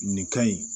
Nin ka ɲi